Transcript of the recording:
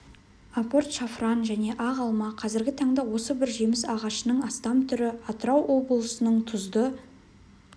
апорт шафран және ақ алма қазіргі таңда осы бір жеміс ағашының астам түрі атырау облысының тұзды